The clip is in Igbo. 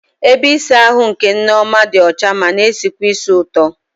Ebe ịsa ahụ nke Nneoma dị ọcha ma na-esikwa ísì ụtọ.